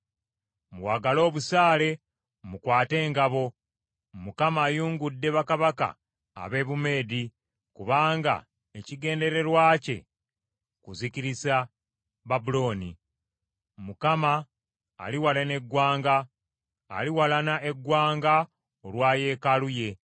“Muwagale obusaale, mukwate engabo! Mukama ayungudde bakabaka ab’e Bumeedi, kubanga ekigendererwa kye kuzikiriza Babulooni. Mukama aliwalana eggwanga, aliwalana eggwanga olwa yeekaalu ye.